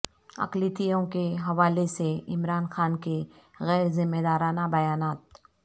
اقلیتوں کے حوالے سے عمران خان کے غیر ذمہ دارانہ بیانات